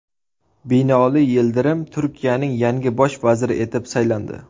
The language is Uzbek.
Binoli Yildirim Turkiyaning yangi bosh vaziri etib saylandi.